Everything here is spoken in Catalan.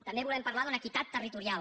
també volem parlar d’una equitat territorial